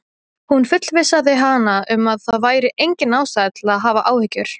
Hún fullvissaði hana um að það væri engin ástæða til að hafa áhyggjur.